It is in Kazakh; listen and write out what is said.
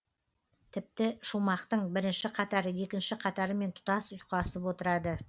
тіпті шумақтың бірінші қатары екінші қатарымен тұтас ұйқасып отырады